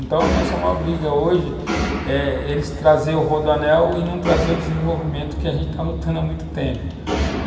Então, a nossa maior briga hoje é eles trazerem o rodoanel e não trazerem o desenvolvimento que a gente está lutando há muito tempo.